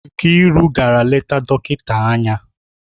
Nkiru gara leta dọkịta anya?